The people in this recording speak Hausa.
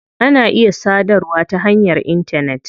Ana iya sadarwa ta hanyar intanet.